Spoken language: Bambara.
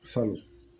Salon